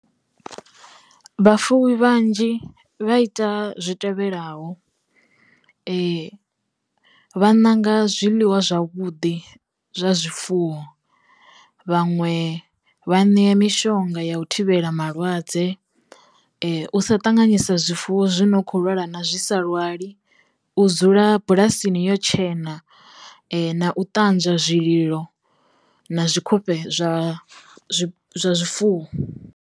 Vhafuwi vhanzhi vha ita zwi tevhelaho vha ṋanga zwiḽiwa zwavhudi zwa zwifuwo, vhaṅwe vha ṋea mishonga ya u thivhela malwadze u sa ṱanganyisa zwifuwo zwi no kho lwala na zwi sa lwali, u dzula bulasini yo tshena na u ṱanzwa zwililo na zwi khofhe zwa zwifuwo.